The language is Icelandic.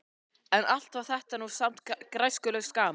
En allt var þetta nú samt græskulaust gaman.